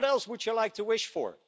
What else would you like to wish for?